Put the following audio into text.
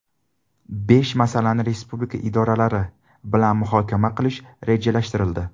Besh masalani respublika idoralari bilan muhokama qilish rejalashtirildi.